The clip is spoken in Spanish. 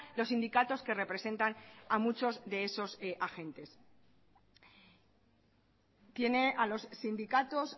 los sindicatos que representan a muchos de esos agentes tiene a los sindicatos